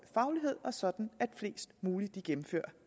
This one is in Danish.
faglighed og sådan at flest muligt gennemfører